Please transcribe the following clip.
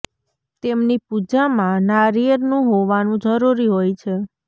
તેમની પૂજા માં નારિયેળ નું હોવાનું જરૂરી હોય છે